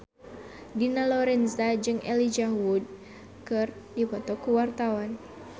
Dina Lorenza jeung Elijah Wood keur dipoto ku wartawan